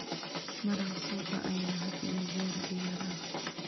Maraq suuqa ayaa had iyo jeer diyaar ah.